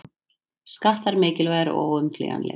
Skattar mikilvægir og óumflýjanlegir